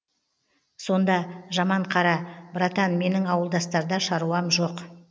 сонда жаман қара братан менің ауылдастарда шаруам жоқ